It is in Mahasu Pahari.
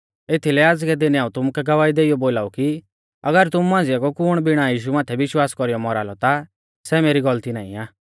एथीलै आज़कै दिनै हाऊं तुमुकै गवाही देइयौ बोलाऊ कि अगर तुमु मांझ़िया कु कुण बिणा यीशु माथै विश्वास कौरीयौ मौरा लौ ता सै मेरी गौलती नाईं आ